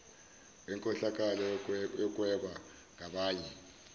wenkohlakalo yokuhweba ngabanye